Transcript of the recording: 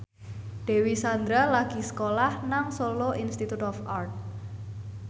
Dewi Sandra lagi sekolah nang Solo Institute of Art